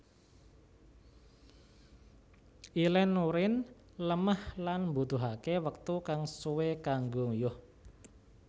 Ilèn urin lemah lan mbutuhaké wektu kang suwé kanggo nguyuh